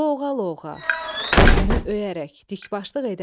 Lovğa-lovğa, özünü öyərək, dikbaşlıq edərək.